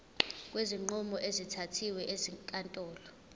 kwezinqumo ezithathwe ezinkantolo